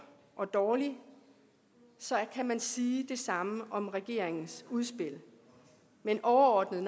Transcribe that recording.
og dårlig kan man sige om regeringens udspil men overordnet